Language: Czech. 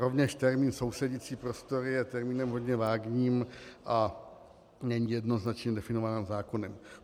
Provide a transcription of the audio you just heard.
Rovněž termín sousedící prostory je termínem hodně vágním a není jednoznačně definován zákonem.